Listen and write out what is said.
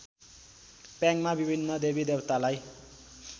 प्याङमा विभिन्न देवीदेवतालाई